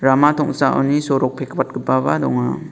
rama tong·saoni sorok pekwatgipaba donga.